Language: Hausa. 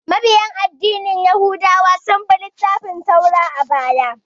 Mabiya addinin yahudawa sun bi littafin Taura a baya